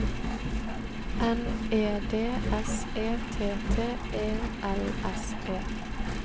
N E D S E T T E L S E